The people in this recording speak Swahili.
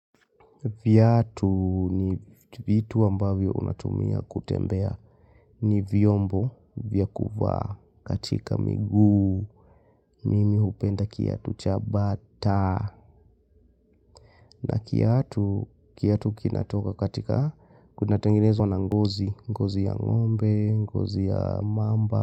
Viatu ni vitu ambavyo unatumia kutembea ni vyombo vya kuvaa katika miguu. Mimi hupenda kiatu cha bata na kiatu kinatoka katika kuna tenginezwa na ngozi, ngozi ya ngombe, ngozi ya mamba.